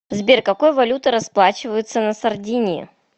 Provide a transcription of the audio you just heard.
сбер какой валютой расплачиваются на сардинии